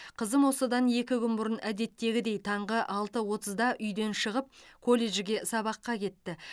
қызым осыдан екі күн бұрын әдеттегідей таңғы алты отызда үйден шығып колледжге сабаққа кетті